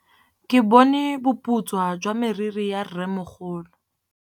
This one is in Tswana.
Ke bone boputswa jwa meriri ya rrêmogolo.